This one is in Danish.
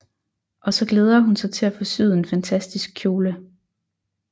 Og så glæder hun sig til at få syet en fantastisk kjole